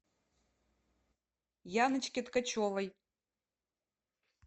яночке ткачевой